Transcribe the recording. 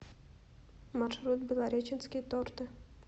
маршрут белореченские торты